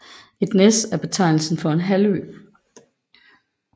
Et næs er en betegnelse for en halvø